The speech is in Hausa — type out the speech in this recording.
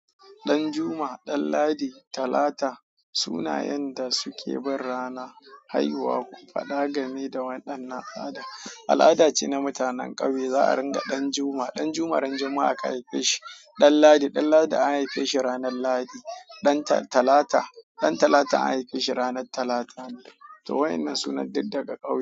Ɗanjuma, Ɗanladi, Talata sunayen da suke bin rana, haihuwa ku faɗa game da waɗan nan al'ada. Al'ada ce na mutanen ƙauye za a ringa Ɗanjuma, Ɗanjuma ran Juma'a aka haife shi. Ɗanladi, Ɗanladi an haife shi ranar Lahadi. Ɗantalata, Ɗantalata an haife shi ranar Talata ne. To wa'innan sunan duk daga ƙauye.